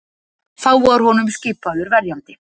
Þá var honum skipaður verjandi